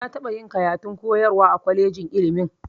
Na taɓa yin karatun koyarwa a kwalejin ilmin